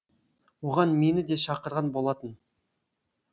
оған мені де шақырған болатын